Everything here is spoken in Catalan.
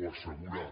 o assegurar